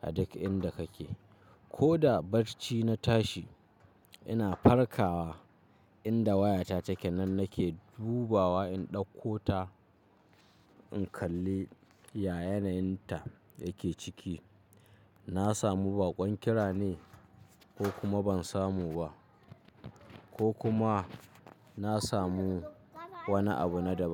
a duk inda kake. Ko da barci na tashi ina farkawa inda wayata take nan nake dubawa in ɗauko ta in kalli ya yanayin ta yake ciki. Na samu baƙon kira ne ko kuma ban samu ba, ko kuma na samu wani abu na daban.